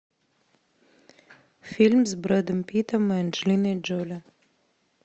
фильм с бредом питом и анджелиной джоли